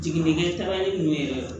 Jiginikɛ taara ni yɛrɛ ye